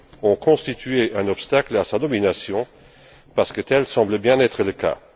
ont constitué un obstacle à sa nomination, parce que tel semble bien être le cas.